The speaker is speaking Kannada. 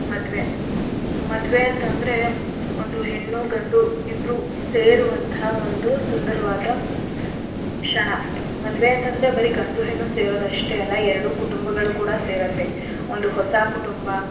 ಮದ್ವೆ, ಮದ್ವೆ ಅಂತ್ ಅಂದ್ರೆ ಒಂದು ಹೆಣ್ಣು ಗಂಡು ಇಬ್ರೂ ಸೇರುವಂಥ ಒಂದು ಸುಂದರವಾದ ಕ್ಷಣ. ಮದ್ವೆ ಅಂತ್ ಅಂದ್ರೆ ಬರೀ ಗಂಡು ಹೆಣ್ಣು ಸೇರೋದಷ್ಟೆ ಅಲ್ಲ ಎರಡು ಕುಟುಂಬಗಳು ಕೂಡ ಸೇರತ್ತೆ. ಒಂದು ಹೊಸ ಕುಟುಂಬ.